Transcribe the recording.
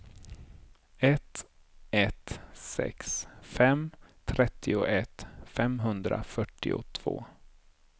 ett ett sex fem trettioett femhundrafyrtiotvå